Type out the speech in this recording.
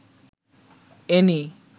any